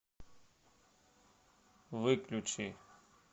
выключи